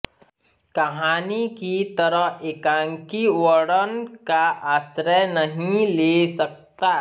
कहानी की तरह एकांकी वर्णन का आश्रय नहीं ले सकता